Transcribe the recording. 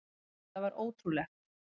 Þetta var ótrúlegt.